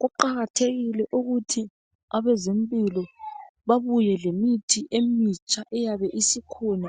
Kuqakathekile ukuthi abezempilo babuye lemithi emitsha eyabe isikhona